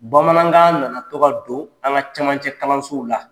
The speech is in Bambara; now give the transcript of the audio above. Bamanankan na na tɔgɔ don an ka cɛmancɛ kalansow la.